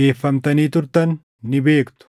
geeffamtanii turtan ni beektu.